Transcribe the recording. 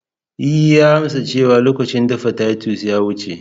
E, ya amsa cewa lokacin dafa titus ya wuce.